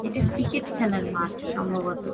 এটা ক্রিকেট খেলার মাঠ সম্ভবত ।